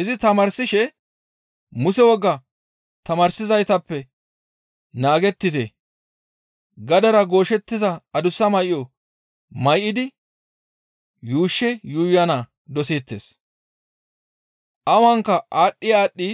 Izi tamaarsishe, «Muse wogaa tamaarsizaytappe naagettite, gadera gooshettiza adussa may7o may7idi yuushshe yuuyana doseettes; awanka aadhdhi aadhdhi